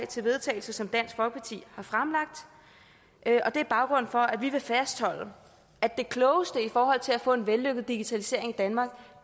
til vedtagelse som dansk folkeparti har fremlagt og det er baggrunden for at vi vil fastholde at det klogeste i forhold til at få en vellykket digitalisering i danmark